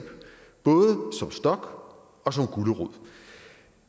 både som og som gulerod